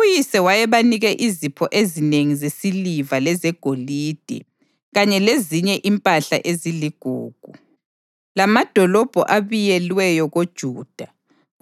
Uyise wayebanike izipho ezinengi zesiliva lezegolide kanye lezinye impahla eziligugu, lamadolobho abiyelweyo koJuda,